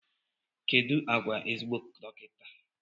Kedu àgwà ezigbo dọkịta?